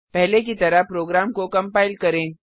पहले की तरह प्रोग्राम को कंपाइल करें